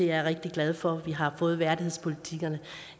jeg er rigtig glad for at vi har fået værdighedspolitikkerne